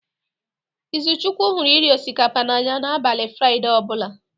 Izuchukwu hụrụ iri osikapa n'anya n'abalị fraide ọ bụla.